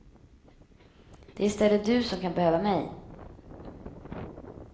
Det är i stället du som kan behöva mig.